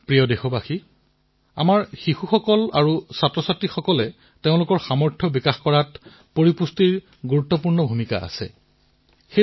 প্ৰিয় দেশবাসীসকল আমাৰ ইয়াত শিশু আমাৰ বিদ্যাৰ্থীয়ে যাতে নিজৰ সম্পূৰ্ণ ক্ষমতা প্ৰদৰ্শিত কৰিব পাৰে নিজৰ সামৰ্থ প্ৰদৰ্শিত কৰিব পাৰে তাৰবাবে পুষ্টিৰ ভূমিকাও অশেষ গুৰুত্বপূৰ্ণ হয়